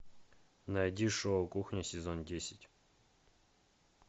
найди шоу кухня сезон десять